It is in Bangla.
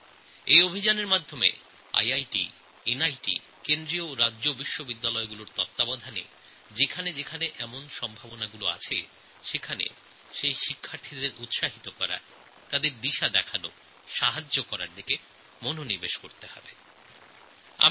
এই অভিযানের অন্তর্গত যেখানে এই রকম মেধার সম্ভাবনা আছে সেখানকার বিদ্যার্থীদের উৎসাহিত করতে পথ দেখাতে এবং অন্যান্য সাহায্য করতে iitনিত কেন্দ্রীয় ও রাজ্যের বিশ্ববিদ্যালয়গুলি মেন্টররূপে কাজ করবে